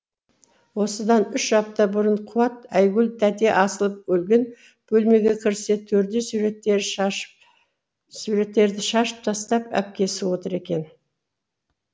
осыдан үш апта бұрын қуат айгүл тәте асылып өлген бөлмеге кірсе төрде суреттерді шашып тастап әпкесі отыр екен